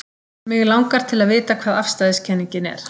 Mig langar til að vita hvað afstæðiskenningin er.